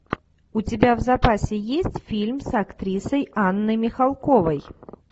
у тебя в запасе есть фильм с актрисой анной михалковой